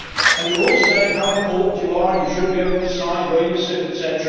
and you are all saying how important you are, and that you should be able to decide where you sit etc.,